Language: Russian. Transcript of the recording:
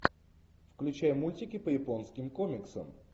включай мультики по японским комиксам